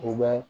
U bɛ